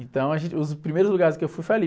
Então, a gente, os primeiros lugares que eu fui foi ali.